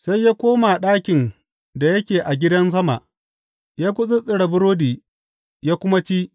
Sai ya koma ɗakin da yake a gidan sama, ya gutsuttsura burodi ya kuma ci.